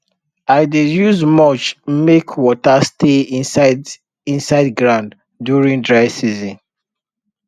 i dey use mulch make water stay inside inside ground during dry season